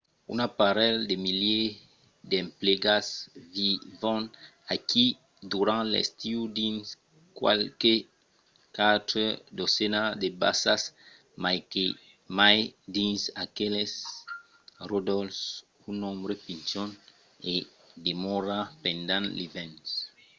un parelh de milièrs d'emplegats vivon aquí durant l’estiu dins qualques quatre dotzenas de basas mai que mai dins aqueles ròdols; un nombre pichon i demòra pendent l’ivèrn